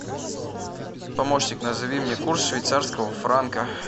помощник назови мне курс швейцарского франка